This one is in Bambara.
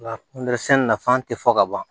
Nka sɛnɛ nafa tɛ fɔ ka ban